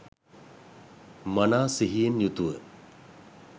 මනා සිහියෙන් යුතුව